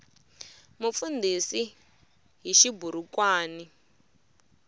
mufundhisi hi xiburukwani